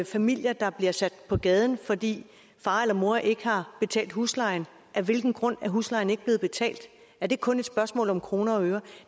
familier der bliver sat på gaden fordi far eller mor ikke har betalt huslejen af hvilken grund er huslejen ikke blevet betalt er det kun et spørgsmål om kroner og øre